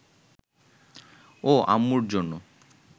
ও আম্মুর জন্য